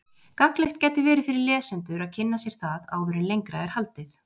Gagnlegt gæti verið fyrir lesendur að kynna sér það áður en lengra er haldið.